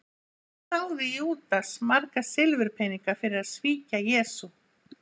Hvað þáði Júdas marga silfurpeninga fyrir að svíkja Jesú?